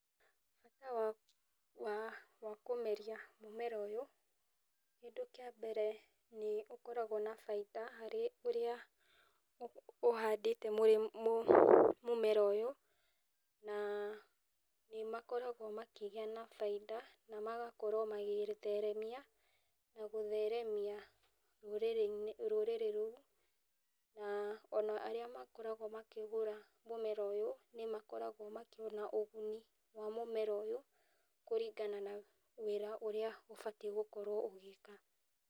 Bata wa wa kũmeria mũmera ũyũ, kĩndũ kĩa mbere nĩ ũkoragũo na baida harĩ ũrĩa ũhandĩte. Mũrĩ mũmera ũyũ na nĩ makoragũo makĩgĩa na baida na magakorũo magĩgĩtheremia na gũtheremia rũrĩrĩ-inĩ rũrĩrĩ rũu. Na o na arĩa makoragũo makĩgũra mũmera ũyũ nĩ makoragũo makĩona ũguni wa mũmera ũyũ kũringana na wĩra ũrĩa ũbatiĩ gũkorũo ũgĩka.